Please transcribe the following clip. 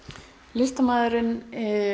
listamaðurinn